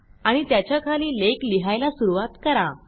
आणि त्याच्याखाली लेख लिहायला सुरूवात करा